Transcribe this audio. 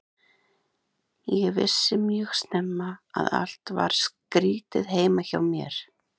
Ég vissi mjög snemma að allt var skrýtið heima hjá mér.